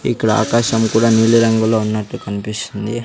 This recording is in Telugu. ఇక్కడ ఆకాశము కూడా నీలిరంగులో ఉన్నట్టు కనిపిస్తుంది.